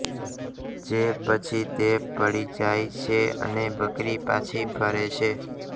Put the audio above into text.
જે પછી તે પડી જાય છે અને બકરી પાછી ફરે છે